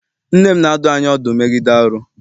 Nne m na-adụ anyị ọdụ megide arụ.